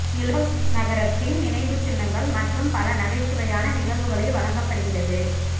Izhevsk நகரத்தின் நினைவுச்சின்னங்கள் மற்றும் பல நகைச்சுவையான நிகழ்வுகளை வழங்கப்படுகிறது